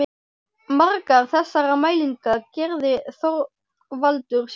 Margar þessara mælinga gerði Þorvaldur sjálfur.